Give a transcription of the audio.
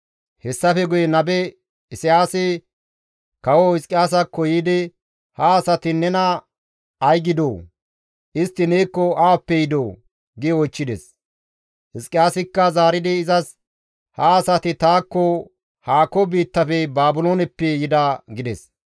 Hessafe guye nabe Isayaasi kawo Hizqiyaasakko yiidi, «Ha asati nena ay gidoo? Istti neekko awappe yidoo?» gi oychchides. Hizqiyaasikka zaaridi izas, «Ha asati taakko haako biittafe Baabilooneppe yida» gides.